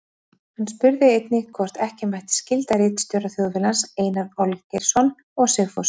Hann spurði einnig, hvort ekki mætti skylda ritstjóra Þjóðviljans, Einar Olgeirsson og Sigfús